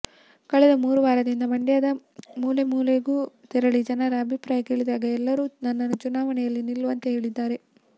ಕಳೆದ ಮೂರು ವಾರದಿಂದ ಮಂಡ್ಯದ ಮೂಲೆ ಮೂಲೆಗೂ ತೆರಳಿ ಜನರ ಅಭಿಪ್ರಾಯ ಕೇಳಿದಾಗ ಎಲ್ಲರೂ ನನ್ನನ್ನು ಚುನಾವಣೆಯಲ್ಲಿ ನಿಲ್ಲುವಂತೆ ಹೇಳಿದ್ದಾರೆ